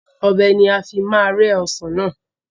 Ọbẹ̀ ni a fi máa rẹ́ Ọsàn náà